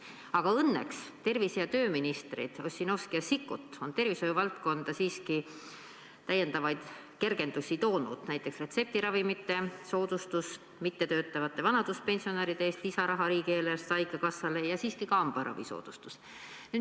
Aga õnneks tervise- ja tööministrid Ossinovski ja Sikkut on tervishoiu valdkonda siiski kergendusi toonud, näiteks retseptiravimite soodustus, mittetöötavate vanaduspensionäride eest lisaraha riigieelarvest haigekassale ja siiski ka hambaravi soodustus.